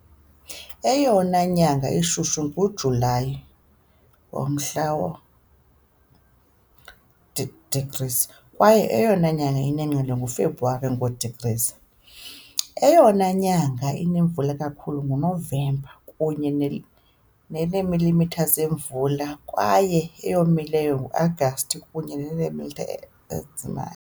Eyona nyanga ishushu nguJulayi, ngomhla wama-degrees, kwaye eyona ngqele kaFebruwari, ngo-degrees. Eyona nyanga inemvula kakhulu nguNovemba, kunye neemilimitha zemvula, kwaye eyomileyo nguAgasti, kunye neemilimitha ezingama .